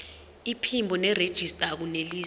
iphimbo nerejista akunelisi